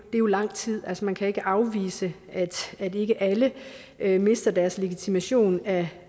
jo lang tid altså man kan ikke afvise at ikke alle alle mister deres legitimation af